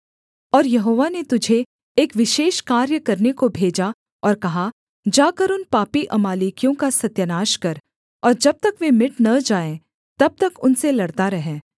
और यहोवा ने तुझे एक विशेष कार्य करने को भेजा और कहा जाकर उन पापी अमालेकियों का सत्यानाश कर और जब तक वे मिट न जाएँ तब तक उनसे लड़ता रह